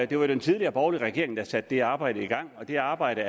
det var den tidligere borgerlige regering der satte det arbejde i gang og det arbejde